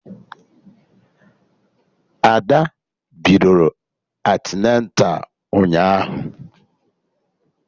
Ada bidoro antịneta ụnyaahụ